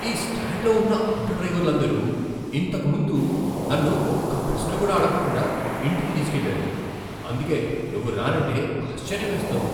ఈ స్టాండ్లో ఉన్న ఆటోడ్రైవర్లందరూ ఇంతకు ముందు నన్ను ఒక్క ప్రశ్న కూడా అడగకుండా ఇంటికి తీసుకెళ్లారు, అందుకే నువ్వు రానంటే ఆశ్చర్యమేస్తోంది!